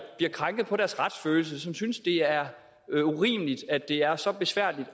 krænket på deres retsfølelse folk som synes det er er urimeligt at det er så besværligt